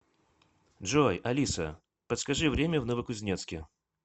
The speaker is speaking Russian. джой алиса подскажи время в новокузнецке